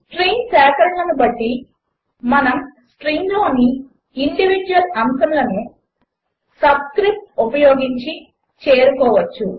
strings సేకరణలు కాబట్టి మనము స్ట్రింగ్లోని ఇండివీడ్యువల్ అంశములను సబ్స్క్రిప్ట్స్ ఉపయోగించి చేరుకోవచ్చు